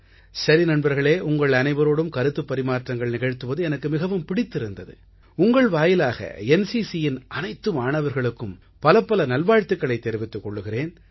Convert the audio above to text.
சரி நண்பர்களே உங்கள் அனைவரோடும் கருத்துப் பரிமாற்றங்கள் நிகழ்த்துவது எனக்கு மிகவும் பிடித்திருந்தது உங்கள் வாயிலாக NCCயின் அனைத்து மாணவர்களுக்கும் பலப்பல நல்வாழ்த்துக்களைத் தெரிவித்துக் கொள்கிறேன்